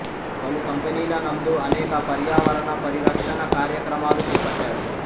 పలు కంపెనీల నందు అనేక పర్యావరణ పరిరక్షణ కార్యక్రమాలు చేపట్టాడు